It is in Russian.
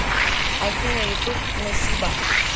афина ютуб насиба